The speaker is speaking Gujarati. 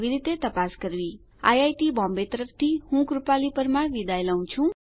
આઈઆઈટી બોમ્બે તરફથી સ્પોકન ટ્યુટોરીયલ પ્રોજેક્ટ માટે ભાષાંતર કરનાર હું ભરત સોલંકી વિદાય લઉં છું